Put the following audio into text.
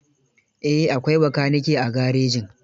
Eh, akwai bakanike a garejin.